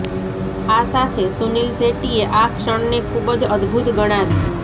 આ સાથે સુનીલ શેટ્ટીએ આ ક્ષણને ખૂબ જ અદ્ભુત ગણાવી